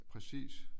Præcis